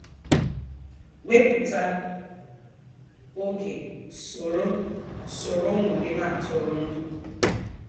Wepụta oge soro soro ụmụ gị na-atụrụ ndụ